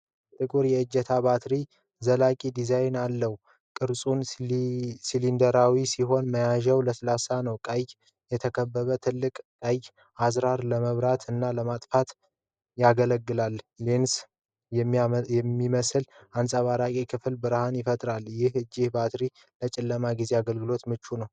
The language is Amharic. ጥቁር የእጅ ባትሪ ዘላቂ ዲዛይን አለው። ቅርጹሲሊንደራዊ ሲሆን መያዣው ለስላሳ ነው። በቀይ የተከበበ ትልቅ ቀይ አዝራር ለማብራት እና ለማጥፋት ያገለግላል። ሌንስ በሚመስል አንጸባራቂ ክፍል ብርሃን ይፈነጥቃል። ይህ የእጅ ባትሪ ለጨለማ ጊዜ አገልግሎት ምቹ ነው።